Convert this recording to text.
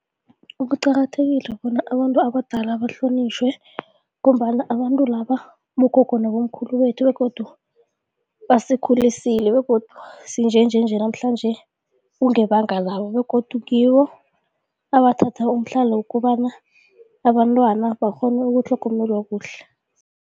Kuqakathekile bona abantu abadala bahlonitjhwe ngombana abantu laba bogogo nabomkhulu bethu begodu basakhulisile begodu sinjenjenje namhlanje kungebanga labo begodu ngibo abathatha umhlali wokobana abantwana bakghone ukutlhogomelwa kuhle.